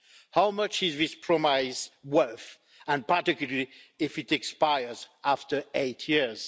How much is this promise worth, particularly if it expires after eight years?